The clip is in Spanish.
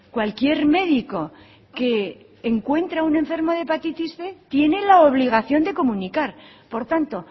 cualquier médico que encuentra un enfermo de hepatitis cien tiene la obligación de comunicar por tanto